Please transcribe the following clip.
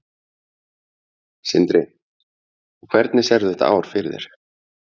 Sindri: Og hvernig sérðu þetta ár fyrir þér?